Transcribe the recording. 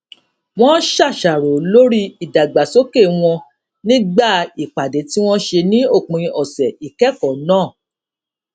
wón ṣàṣàrò lórí ìdàgbàsókè wọn nígbà ìpàdé tí wón ṣe ní òpin ọsẹ ìkẹkọọ náà